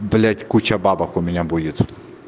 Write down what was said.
блять куча бабок у меня будет